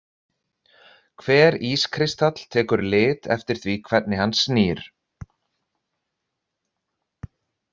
Hver ískristall tekur lit eftir því hvernig hann snýr.